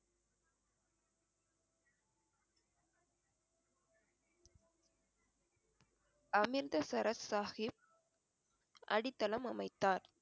அமிர்தசரஸ் சாஹிப் அடித்தளம் அமைத்தார்